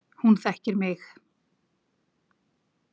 Hún þekkir mig